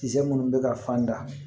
Kisɛ munnu bɛ ka fan da